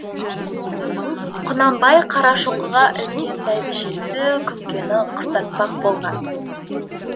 құнанбай қарашоқыға үлкен бәйбішесі күнкені қыстатпақ болған